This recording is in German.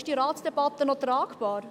Ist diese Ratsdebatte noch tragbar?